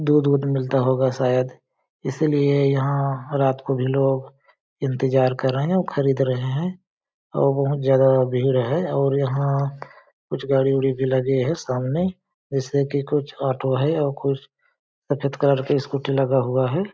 दूध मिलता होगा शायद इसीलिए यहाँ रात को भी लोग इंतजार कर रहे हैं और खरीद रहे हैं और बहुत ज्यादा भीड़ है और यहाँ कुछ गाड़ी उड़ी भी लगी है सामने जैसे कि कुछ ऑटो है और कुछ सफेद कलर की स्कूटी लगा हुआ है।